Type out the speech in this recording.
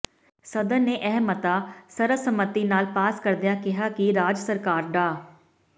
ਸਦਨ ਨੇ ਇਹ ਮਤਾ ਸਰਬ ਸੰਮਤੀ ਨਾਲ ਪਾਸ ਕਰਦਿਆਂ ਕਿਹਾ ਕਿ ਰਾਜ ਸਰਕਾਰ ਡਾ